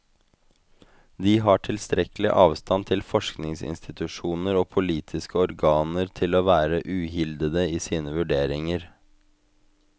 De har tilstrekkelig avstand til forskningsinstitusjoner og politiske organer til å være uhildede i sine vurderinger.